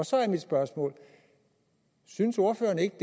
så er mit spørgsmål synes ordføreren ikke